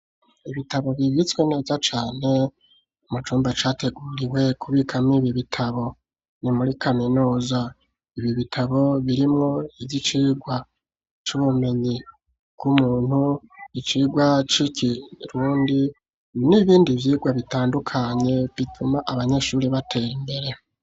Ibitabo bibitswe neza cane mu cumba categuriwe kubikamwo ibitabo ,ni muri kaminuza ,ibi bitabo birimwo ivy'icigwa c'ubumenyi bw'umuntu ,icigwa c'ikirundi ,n'ibindi vyigwa bitandukanye bituma abanyeshuri batera imbere.